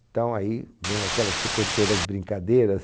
Então aí vem aquela... Você contou das brincadeiras.